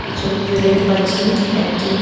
এই ছবিটিতে দেখতে পাচ্ছি একটি।